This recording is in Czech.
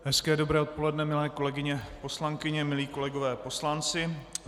Hezké dobré odpoledne, milé kolegyně poslankyně, milí kolegové poslanci.